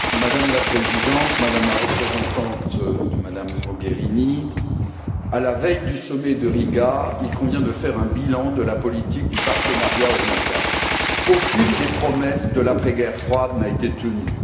Madame la Présidente, Madame la représentante de Mme Mogherini, à la veille du sommet de Riga, il convient de faire un bilan de la politique du partenariat oriental aucune des promesses de l'après guerre froide n'a été tenue.